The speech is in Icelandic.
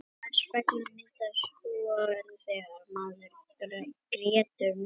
hvers vegna myndast hor þegar maður grætur mikið